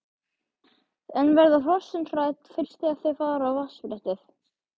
En verða hrossin hrædd fyrst þegar þau fara á vatnsbrettið?